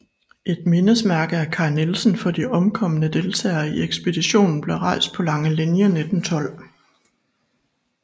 Et mindesmærke af Kai Nielsen for de omkomne deltagere i ekspeditionen blev rejst på Langelinie 1912